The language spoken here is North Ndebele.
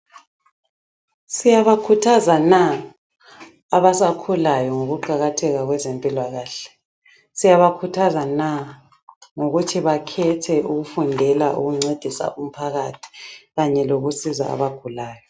Siyabakhuthaza na abasakhulayo ngokuqakatheka kwezempilakahle. Siyabakhuthaza na ngokuthi bakhethe ukufundela ukuncedisa umphakathi kanye lokusiza abagulayo.